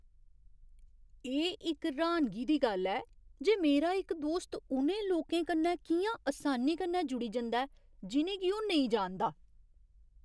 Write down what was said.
एह् इक र्हानगी दी गल्ल ऐ जे मेरा इक दोस्त उ'नें लोकें कन्नै कि'यां असानी कन्नै जुड़ी जंदा ऐ जि'नें गी ओह् नेईं जानदा।